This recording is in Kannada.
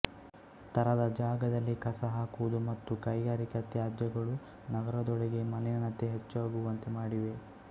ತರದ ಜಾಗದಲ್ಲಿ ಕಸ ಹಾಕುವುದು ಮತ್ತು ಕೈಗಾರಿಕಾ ತ್ಯಾಜ್ಯಗಳು ನಗರದೊಳಗೆ ಮಲಿನತೆ ಹೆಚ್ಚಗುವಂತೆ ಮಾಡಿವೆ